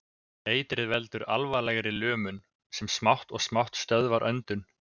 Eitrið veldur alvarlegri lömun, sem smátt og smátt stöðvar öndun.